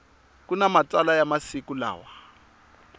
kuna matsalwa ya masiku lawa